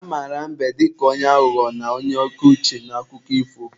A mara mbe dịka onye aghụghọ na onye oke uche n'akụkọ ifo.